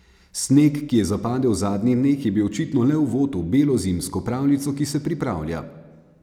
Sneg, ki je zapadel v zadnjih dneh je bil očitno le uvod v belo zimsko pravljico, ki se pripravlja.